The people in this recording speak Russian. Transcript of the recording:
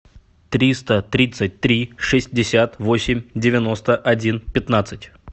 триста тридцать три шестьдесят восемь девяносто один пятнадцать